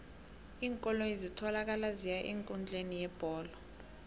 iinkoloyi ezitholakala ziya eenkundleni yebholo